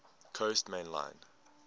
coast main line